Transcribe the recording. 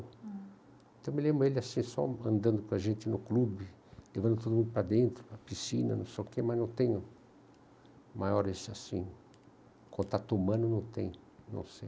Ah. Eu me lembro dele assim, só andando com a gente no clube, levando todo mundo para dentro, para a piscina, no sol quente, mas não tenho maiores assim... Contato humano não tenho, não sei.